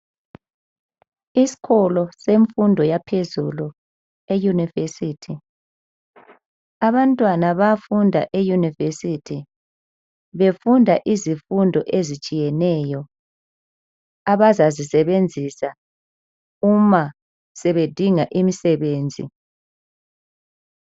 Isikolo semfundo yaphezulu, eunivesithi, abantwana bayafunda e univesithi, befunda izifundo ezitshiyeneyo abazazisebenzisa uma bedinga imisebenzi.